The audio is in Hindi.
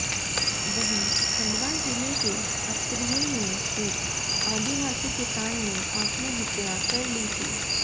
वहीं खंडवा जिले के अस्तरिया में एक आदिवासी किसान ने आत्महत्या कर ली थी